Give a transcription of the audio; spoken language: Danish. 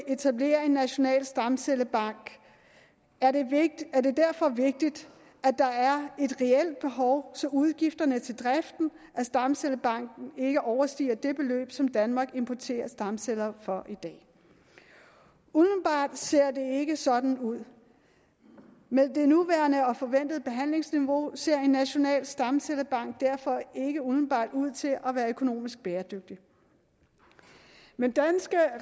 etablere en national stamcellebank er det vigtigt at der er et reelt behov så udgifterne til driften af stamcellebanken ikke overstiger det beløb som danmark importerer stamceller for umiddelbart ser det ikke sådan ud med det nuværende og forventede behandlingsniveau ser en national stamcellebank derfor ikke umiddelbart ud til at være økonomisk bæredygtig men danske